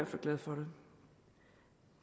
fald glad for det